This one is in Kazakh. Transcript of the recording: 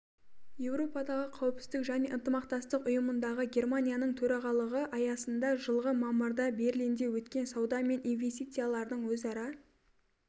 еурподағы қауіпсіздік және ынтымақтастық ұйымындағы германияның төрағалығы аясында жылғы мамырда берлинде өткен сауда мен инвестициялардың өзара